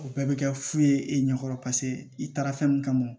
O bɛɛ bɛ kɛ fu ye e ɲɛ kɔrɔ paseke i taara fɛn min kama